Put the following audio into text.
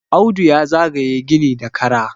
Audu ya zaga ye gini da Kara